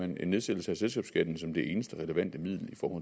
en nedsættelse af selskabsskatten som det eneste relevante middel